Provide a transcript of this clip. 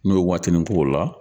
N'i yo waatinin k'o la